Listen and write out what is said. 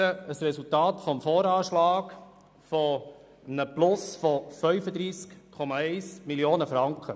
Das Resultat des VA besteht aus einem Plus von 35,1 Mio. Franken.